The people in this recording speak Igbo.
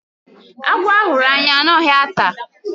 Agwọ a hụrụ anya anaghị ata.